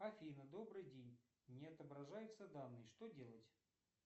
афина добрый день не отображаются данные что делать